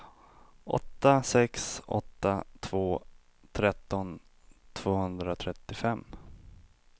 åtta sex åtta två tretton tvåhundratrettiofem